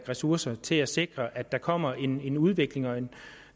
ressourcer til at sikre at der kommer en udvikling og